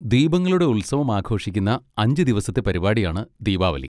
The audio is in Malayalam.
ദീപങ്ങളുടെ ഉത്സവം ആഘോഷിക്കുന്ന അഞ്ച് ദിവസത്തെ പരിപാടിയാണ് ദീപാവലി.